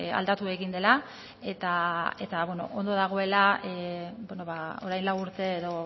aldatu egin dela eta ondo dagoela orain lau urte edo